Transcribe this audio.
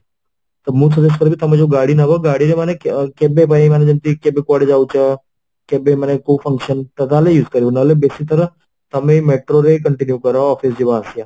ତ ମୁଁ suggest କରିବି ତମେ ଯୋଉ ଗାଡି ନବ ଗାଡ଼ିରେ ମାନେ କେବେପାଇଁ ମାନେ ଯେମିତି କେବେ କୁଆଡେ ଯାଉଛ କେବେ ମାନେ କୋଉ function ତାହାଲେ use କରିବା ନହଲେ ବେଶିଥର ତମେ metro ରେ continue କର office ଯିବା ଆସିବା ପାଇଁ